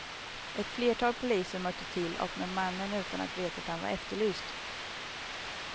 Ett flertal poliser mötte till och med mannen utan att veta att han var efterlyst.